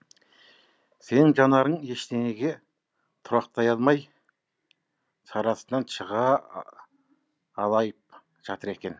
сенің жанарың ештеңеге тұрақтай алмай шарасынан шыға алайып жатыр екен